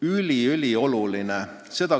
See on ülioluline.